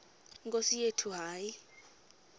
nkosi yethu hayi